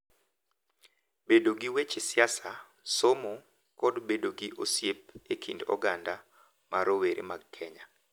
Bedo gi weche siasa, somo, kod bedo gi osiep e kit oganda ma rowere mag Kenya.